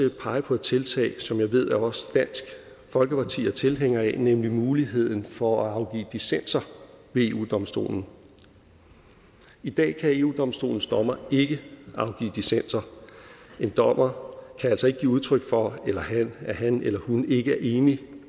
pege på et tiltag som jeg ved at også dansk folkeparti er tilhænger af nemlig muligheden for at afgive dissenser ved eu domstolen i dag kan eu domstolens dommere ikke afgive dissenser en dommer kan altså ikke give udtryk for at han eller hun ikke er enig